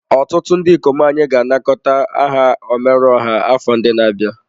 Ọtụtụ ndị ikom anyị ga-anakọta aha omeruoha afọ na-abịa.